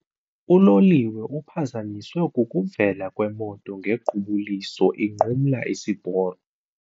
Uloliwe uphazanyiswe kukuvela kwemoto ngequbuliso inqumla isiporo.